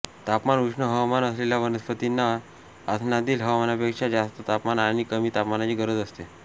तापमान उष्ण हवामान असलेल्या वनस्पतींना आसनातील हवामानापेक्षा जास्त तापमान आणि कमी तापमानची गरज असते